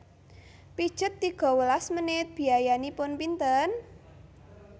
Pijet tiga welas menit biayanipun pinten?